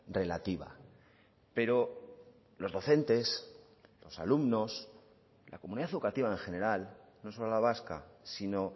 relativa pero los docentes los alumnos la comunidad educativa en general no solo la vasca sino